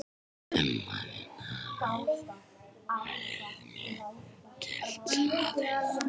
Ummælin hafi verið mjög gildishlaðin